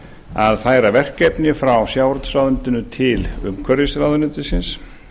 að færa verkefni frá sjávarútvegsráðuneytinu til umhverfisráðuneytisins